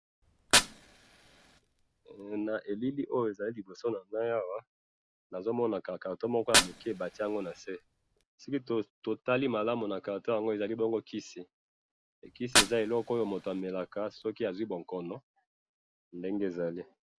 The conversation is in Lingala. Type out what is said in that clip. Na elili oyo na moni kisi bati na se, batu bamelaka yango soki baza na likambo songolo na nzoto.